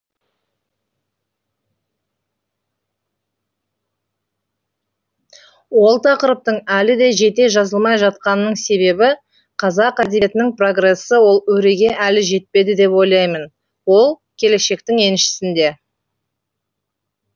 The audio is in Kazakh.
ол тақырыптың әлі де жете жазылмай жатқанының себебі қазақ әдебиетінің прогресі ол өреге әлі жетпеді деп ойлаймын ол келешектің еншісінде